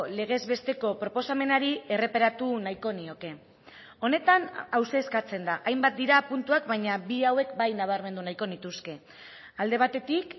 legez besteko proposamenari erreparatu nahiko nioke honetan hauxe eskatzen da hainbat dira puntuak baina bi hauek bai nabarmendu nahiko nituzke alde batetik